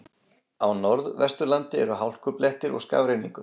Á Norðvesturlandi eru hálkublettir og skafrenningur